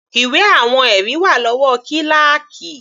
Ìwé àwọn ẹ̀rí wà lọ́wọ́ kíláákì.